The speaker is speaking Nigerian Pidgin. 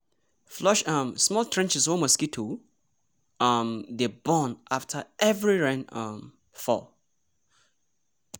flush um small trenches wey mosquito um dey born after every rain um fall.